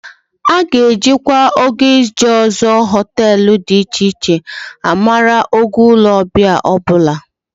Hotels will also always be rated based on the quality of the services they provide.